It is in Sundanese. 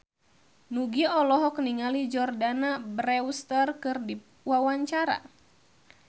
Nugie olohok ningali Jordana Brewster keur diwawancara